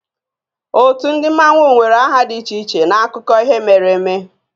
Ótú ndị Mmanwu nwere aha dị iche iche n'akụkọ ihe mere eme